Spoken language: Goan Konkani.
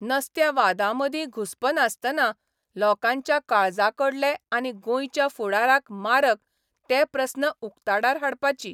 नसत्या वादांमदीं घुस्पनासतना लोकांच्या काळजाकडले आनी गोंयच्या फुडाराक मारक ते प्रस्न उक्ताडार हाडपाची.